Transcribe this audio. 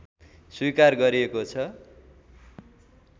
स्वीकार गरिएको छ